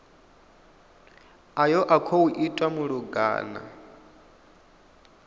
ayo a khou itwa malugana